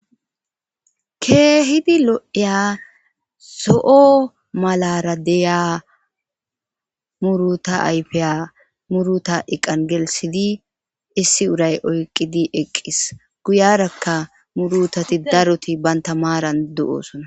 Kehidi lo'iya zoo malara diya muruta ayifiya muruta eqanni geliththidi issi urayyi oyikkidi eqis.guyarakka murutati daroti banita maranni de'osonna.